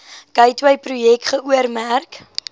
gateway projek geoormerk